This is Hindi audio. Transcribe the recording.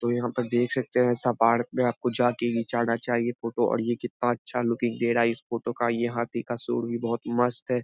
और यहाँ पर आप देख सकते हैं ऐसा पार्क में आपको जा के घीचाना चाहिए फोटो और ये कितना अच्छा लुकिंग दे रहा है इस फोटो का। ये हाथी का सूढ़ भी बहुत मस्त है।